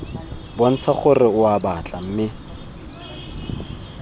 bontsha gore oa batla mme